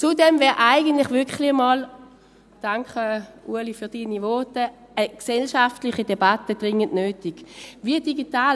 Zudem wäre eigentlich eine gesellschaftliche Debatte wirklich mal dringend nötig – danke, Ueli, für Ihre Voten: